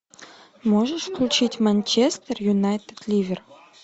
можешь включить манчестер юнайтед ливер